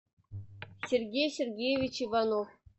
сергей сергеевич иванов